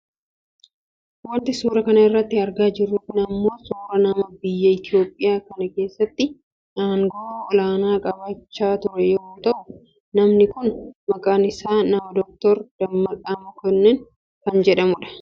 Wanti suuraa kana irratti argaa jirru kun ammoo suuraa nama biyya Itoopiyaa kana keessatti aangoo olaanaa qabaachaa ture yoo ta'u namni kunis maqaan isaa nama Dr Dammaqaa Mokonnin kan jedhamudha.